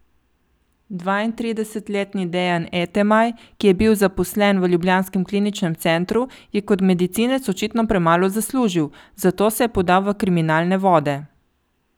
Dvaintridesetletni Dejan Etemaj, ki je bil zaposlen v ljubljanskem kliničnem centru, je kot medicinec očitno premalo zaslužil, zato se je podal v kriminalne vode.